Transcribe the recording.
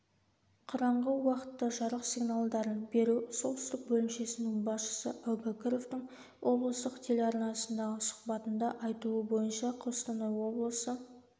бқараңғы уақытта жарық сигналдарын беру солтүстік бөлімшесінің басшысы әубакіровтың облыстық телеарнасындағы сұхбатында айтуы бойынша қостанай облысы